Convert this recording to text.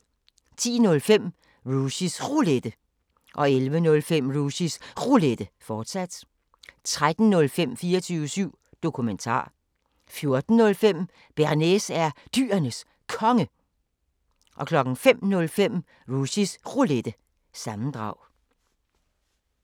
10:05: Rushys Roulette 11:05: Rushys Roulette, fortsat 13:05: 24syv Dokumentar 14:05: Bearnaise er Dyrenes Konge 05:05: Rushys Roulette – sammendrag